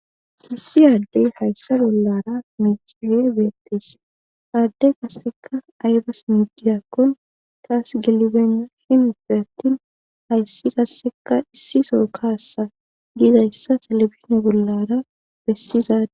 Issi aaddey hayssa bollara mechihe beettes aadde kasseka aybas miidiyakkon taas gelibena himuppe attin hayssi kasseka issi soro kaassa giidayssa telebizine bollara bessizade.